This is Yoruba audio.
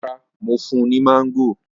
Rara, Mo fun u ni mango.